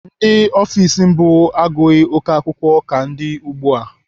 Ndị ọfiks mbụ agụghị oké akwụkwọ ka ndị ugbu a.